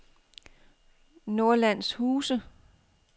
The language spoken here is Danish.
Nordlandshuse